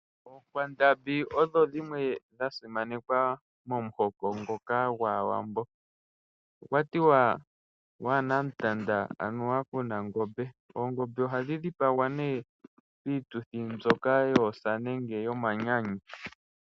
Oonkwandambi odho dhimwe dha simanekwa momuhoko ngoka gwaawambo. Okwatiwa wana ontanda aanuwa kuno ongombe . Oongombe oha dhidhipagwa ne pituthi mbyoka yoosa nenge yoomanyanyu.